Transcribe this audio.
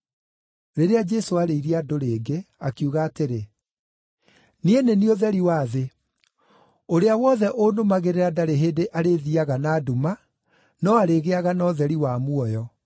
Rĩrĩa Jesũ aarĩirie andũ rĩngĩ, akiuga atĩrĩ, “Niĩ nĩ niĩ ũtheri wa thĩ. Ũrĩa wothe ũnũmagĩrĩra ndarĩ hĩndĩ arĩthiiaga na nduma, no arĩgĩaga na ũtheri wa muoyo.”